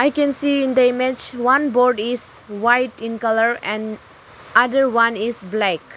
i can see in the image one board is white in colour and other one is black.